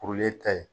Kurulen ta ye